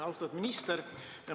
Austatud minister!